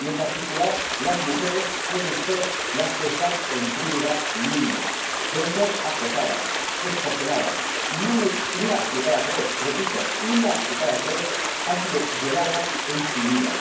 Y, en particular, las mujeres suelen ser las que están en primera línea suelen ser acosadas, extorsionadas y una de cada tres —repito una de cada tres— ha sido violada alguna vez en su vida.